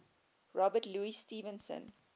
robert louis stevenson